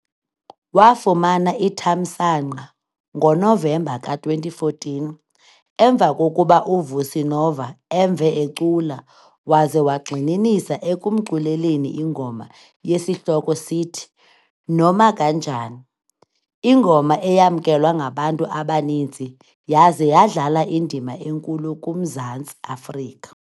Wafumana ithamsanqa ngoNovemba ka-2014 emva kokuba uVusi Nova emve ecula waze wagxininisa ekumculeleni ingoma esihloko sithi, "Noma Kanjani", ingoma eyamkelwa ngabantu abaninzi yaze yadlala indima enkulu kuMzantsi Afrika.